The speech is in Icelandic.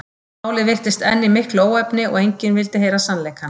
Málið virtist enn í miklu óefni og enginn vildi heyra sannleikann.